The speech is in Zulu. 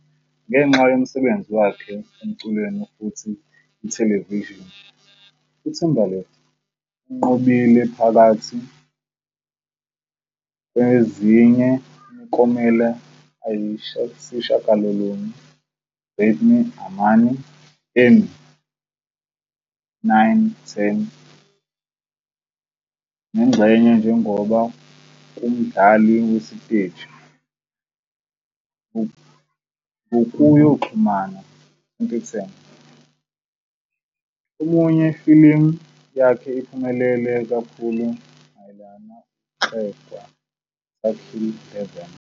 Ngenxa yomsebenzi wakhe emculweni futhi ithelevishini, uTimberlake unqobile, phakathi kwezinye imiklomelo ayisishiyagalolunye Grammy anamane Emmy.9 10 nengxenye njengoba kumdlali wasesiteji, ngok yokuxhumana, 2010, omunye films yakhe iphumelele kakhulu mayelana ukugxekwa taquilla.11